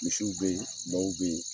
Misiw be yen ,baw be yen.